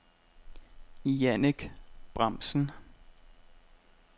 Jannick Bramsen